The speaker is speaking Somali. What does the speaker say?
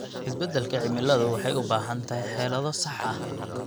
Isbeddelka cimiladu waxay u baahan tahay xeelado sax ah.